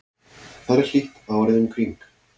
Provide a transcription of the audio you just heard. þar er hlýtt árið um kring